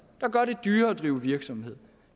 gør det dyrere at drive virksomhed